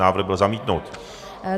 Návrh byl zamítnut.